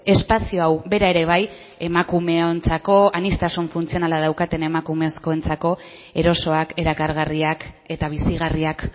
espazio hau bera ere bai emakumeontzako aniztasun funtzionala daukaten emakumezkoentzako erosoak erakargarriak eta bizigarriak